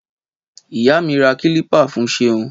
Ìyá mi rà kílìpà fun seun